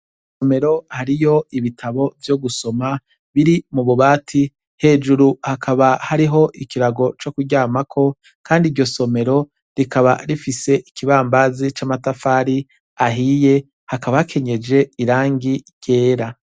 Isomero hariyo ibitabo vyo gusoma biri mu bubati hejuru hakaba hariho ikirago co kuryamako, kandi iryo somero rikaba rifise ikibambazi c'amatafari ahiye hakabakenyeje irangi ryera.